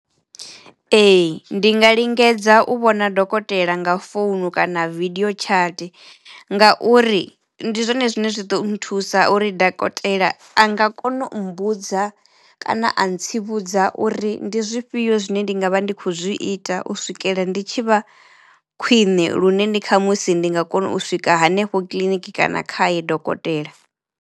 Ee ndi nga lingedza u vhona dokotela nga founu kana video chat ngauri ndi zwone zwine zwi ḓo nthusa uri dakotela a nga kona u mbudza kana a ntsivhudza uri ndi zwifhio zwine ndi nga vha ndi kho zwi ita u swikela ndi tshi vha khwiṋe lune ndi kha musi ndi nga kona u swika hanefho kiḽiniki kana khaye dokotela.